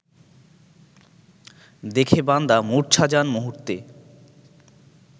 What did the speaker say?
দেখে বান্দা মুর্ছা যান মুহূর্তে